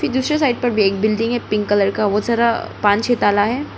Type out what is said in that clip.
ये दूसरे साइड पर भी एक बिल्डिंग है पिंक कलर का बहोत सारा पांच छे ताला है।